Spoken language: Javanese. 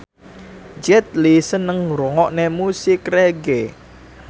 Jet Li seneng ngrungokne musik reggae